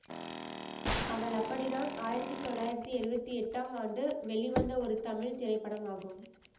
அவள் அப்படித்தான் ஆயிரத்தி தொள்ளாயிரத்தி எழுவத்தி எட்டாம் ஆண்டு வெளிவந்த ஒரு தமிழ் திரைப்படமாகும்